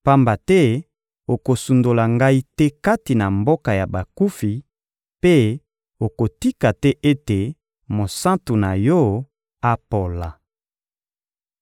pamba te okosundola ngai te kati na mboka ya bakufi mpe okotika te ete mosantu na Yo apola.